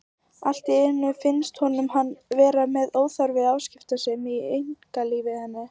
Allt í einu finnst honum hann vera með óþarfa afskiptasemi af einkalífi hennar.